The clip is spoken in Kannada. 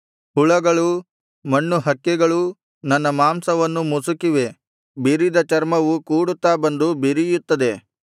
ಹುಳಗಳೂ ಮಣ್ಣುಹಕ್ಕಳೆಗಳೂ ನನ್ನ ಮಾಂಸವನ್ನು ಮುಸುಕಿವೆ ಬಿರಿದ ಚರ್ಮವು ಕೂಡುತ್ತಾ ಬಂದು ಬಿರಿಯುತ್ತದೆ